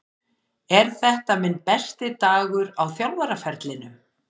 Er þetta minn besti dagur á þjálfaraferlinum?